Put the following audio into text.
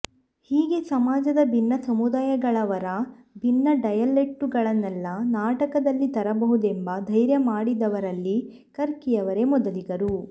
ಹೀಗೆ ಸಮಾಜದ ಭಿನ್ನ ಸಮುದಾಯಗಳವರ ಭಿನ್ನ ಡಯಲೆಕ್ಟುಗಳನ್ನೆಲ್ಲ ನಾಟಕದಲ್ಲಿ ತರಬಹುದೆಂಬ ಧೈರ್ಯ ಮಾಡಿದವರಲ್ಲಿ ಕರ್ಕಿಯವರೇ ಮೊದಲಿಗರು